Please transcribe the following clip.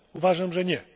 Uważam, że nie.